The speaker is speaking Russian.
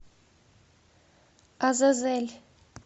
азазель